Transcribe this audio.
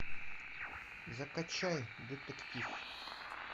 закачай детектив